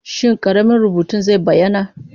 Shin ƙaramin rubutun zai bayyana?